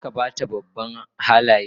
Kar ka ba ta babban Halaye